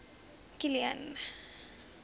kilian